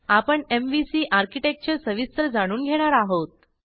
आपण MVC architecture सविस्तर जाणून घेणार आहोत